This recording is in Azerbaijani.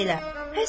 Bax elə.